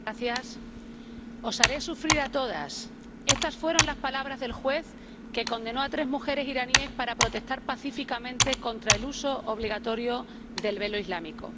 Señor presidente Os haré sufrir a todas estas fueron las palabras del juez que condenó a tres mujeres iraníes por protestar pacíficamente contra el uso obligatorio del velo islámico.